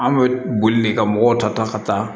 An bɛ boli de ka mɔgɔw ta ta ka taa